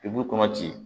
I b'u kɔnɔ ci